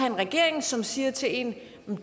en regering som siger til en